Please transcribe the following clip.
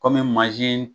Kɔmi